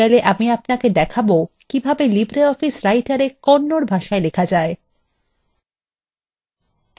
in tutorial এ আমি আপনাকে দেখাবো কিভাবে libreoffice writerএ kannada ভাষায় লেখা যায়